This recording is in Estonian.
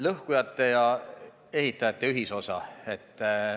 Lõhkujate ja ehitajate ühisosa ...